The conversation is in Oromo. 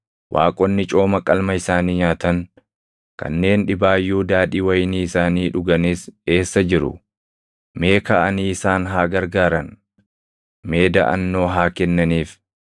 Waaqonni cooma qalma isaanii nyaatan, kanneen dhibaayyuu daadhii wayinii isaanii dhuganis eessa jiru? Mee kaʼanii isaan haa gargaaran! Mee daʼannoo haa kennaniif!